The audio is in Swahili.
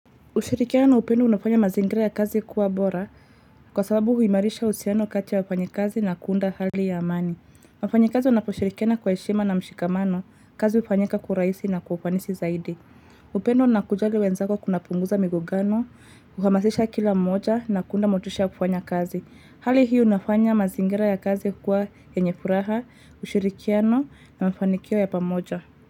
Ushirikiano na upendo unafanya mazingira ya kazi kuwa bora kwa sababu huimarisha uhusiano kati ya wafanyakazi na kuunda hali ya amani. Wafanyikazi wanaposhirikiana kwa heshima na mshikamano kazi hufanyika kwa urahisi na kwa ufanisi zaidi. Upendo na kujali wenzako kunapunguza migogano, huhamasisha kila moja na kuunda motisha ya kufanya kazi. Hali hii unafanya mazingira ya kazi kuwa yenye furaha, ushirikiano na mafanikio ya pamoja.